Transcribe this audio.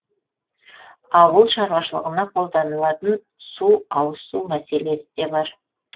ауыл шаруашылығына қолданылатын су ауызсу мәселесі де бар